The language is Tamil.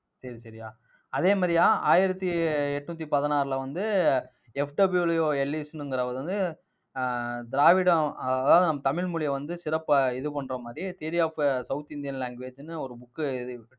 சரி சரியா அதே மாதிரியா ஆயிரத்தி எட்நூத்தி பதினாறுல வந்து FW எல்லிஸ்ங்கிறவர் வந்து ஆஹ் திராவிடம் அதாவது நம் தமிழ் மொழிய வந்து சிறப்பா இது பண்ற மாதிரி theory of south Indian language ன்னு ஒரு book எழுதி,